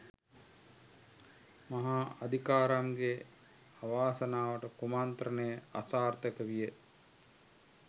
මහා අදිකාරම් ගේ අවාසනාවට කුමන්ත්‍රණය අසාර්ථක විය